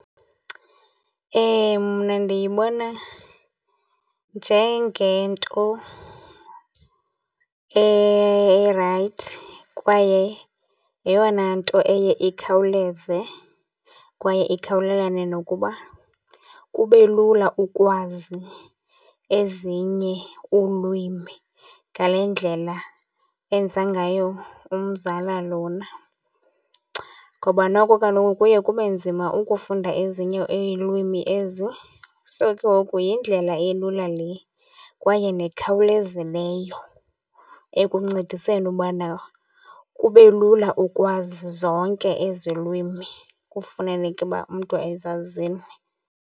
Mna ndiyibona njengento erayithi kwaye yeyona nto eye ikhawuleze, kwaye ikhawulelane nokuba kube lula ukwazi ezinye ulwimi ngale ndlela enza ngayo umzala lona. Ngoba noko kaloku kuye kube nzima ukufunda ezinye iilwimi ezi. So, ke ngoku yindlela elula le kwaye nekhawulezileyo ekuncediseni ubana kube lula ukwazi zonke ezi lwimi kufaneleke ukuba umntu ezazile.